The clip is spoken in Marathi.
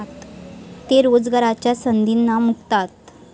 ते रोजगाराच्या संधींना मुकतात.